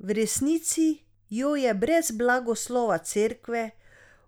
V resnici jo je brez blagoslova cerkve